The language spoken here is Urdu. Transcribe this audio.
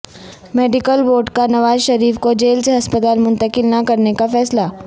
میڈیکل بورڈ کا نوازشریف کو جیل سے ہسپتال منتقل نہ کرنے کا فیصلہ